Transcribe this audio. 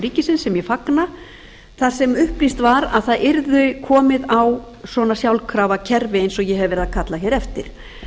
ríkisins sem ég fagna þar sem upplýst var að það yrði komið á svona sjálfkrafa kerfi eins og ég hef verið að kalla hér eftir